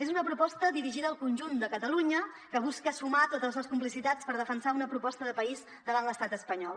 és una proposta dirigida al conjunt de catalunya que busca sumar totes les complicitats per defensar una proposta de país davant l’estat espanyol